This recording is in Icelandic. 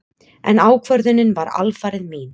En ákvörðunin var alfarið mín.